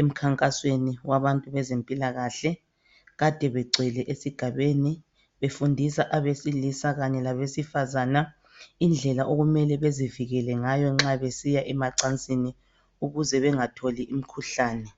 emkhankasweni wabantu bezempilakahle. Kade begcwele esigabeni befundisa abesilisa kanye labesifazane indlela okumele bezivikele ngayo nxa besiya emacansini ukuze bengatholi imikhuhlane.